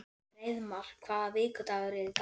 Hreiðmar, hvaða vikudagur er í dag?